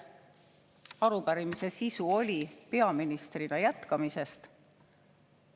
Arupärimise sisu oli peaministrina jätkamise kohta.